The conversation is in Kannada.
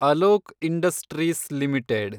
Alok industries limited